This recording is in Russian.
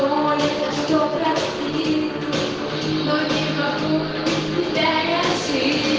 думаю это делать или очень крупных с россией